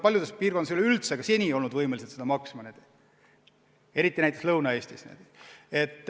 Paljudes piirkondades ei ole ka seni oldud võimelised seda maksma, eriti näiteks Lõuna-Eestis.